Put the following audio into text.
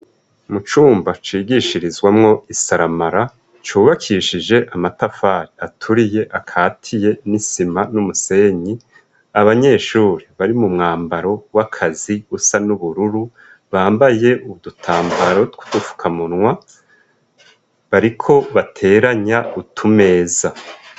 Mu cumba cigishirizwamwo isaramara, cubakishije amatafari aturiye akatiye n'isima n'umusenyi, abanyeshuri bari mu mwambaro w'akazi usa n'ubururu bambaye udutambaro tw'udufukamunwa bariko bateranya utumeza.